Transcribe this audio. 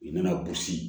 I mana